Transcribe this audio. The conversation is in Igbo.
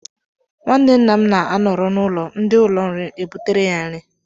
Nwanne nna m na-anọrọ n'ụlọ, ndị ụlọnri ebutere ya nri